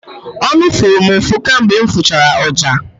Ọnụ fụrụ m ụfụ kamgbe m fụchara ọja.